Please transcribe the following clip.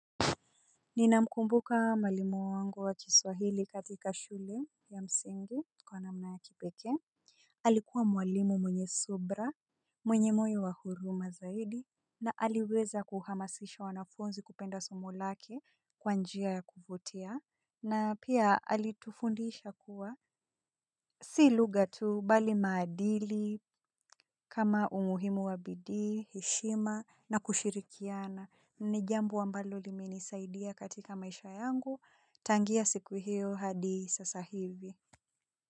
Ninamkumbuka mwalimu wangu wa kiswahili katika shule ya msingi kwa namna ya kipekee. Alikuwa mwalimu mwenye subra, mwenye moyo wa huruma zaidi. Na aliweza kuhamasisha wanafunzi kupenda somo lake kwa njia ya kuvutia na pia alitufundisha kuwa si lugha tu bali maadili kama umuhimu wa bidii, heshima na kushirikiana ni jambumo ambalo limenisaidia katika maisha yangu, tangia siku hiyo hadi sasa hivi.